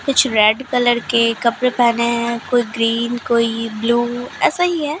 कुछ red colour के कपड़े पहने हैं कोई ग्रीन कोई ब्लू ऐसा ही है।